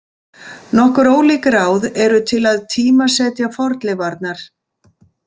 Nokkur ólík ráð eru til að tímasetja fornleifarnar.